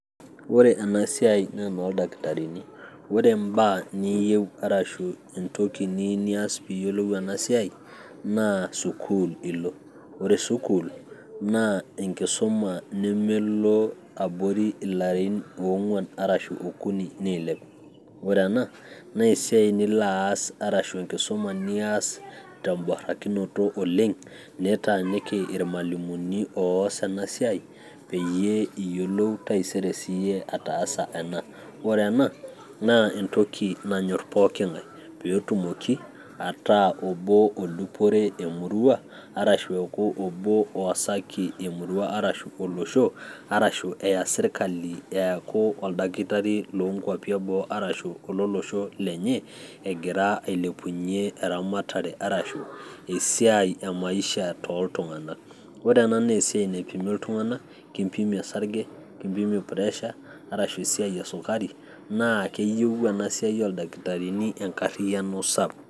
Ore ana siaai naa noo ldakitarini, ore imbaa niiyeu arashu entoki niyeu niyas piiyolou ana siaai naa sukuul ilo, ore sukuul naa enkisuma nemelo abori ill'arin oong'wan arashu okuni neilep, ore ena naa esiaai nilo aas arashu inkisuma nilo aas te mborakinoto oleng nitaaniki ormwalimuni oas ana siaai peyie iyolou sii iyie taisere ataasa, ore ena naa entoki nanyorr pooki ng'ae peetumoki ataa oboo odupore emurrua arashu oboo oasaki emurria arashu oloshoo peya sirkali eaku oldakitari leenkwapi eboo arashu ololoshol lenye egira ailepunye eramatare arashu esiaai emaisha too ltungana, ore ena naa esiaai naipimi ltungana, kimpimi osarge, nikimpim puresha arashu esiaai esukari naa keyeu ena siaai oo ldakitarini enkarriyano sapuk.